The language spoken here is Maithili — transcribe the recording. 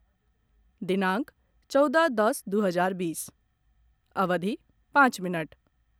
दिनांक चौदह दश दू हजार बीस, अवधि पाँच मिनट